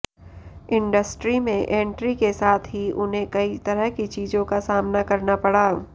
industry में entry के साथ ही उन्हें कई तरह की चीजों का सामना करना पड़ा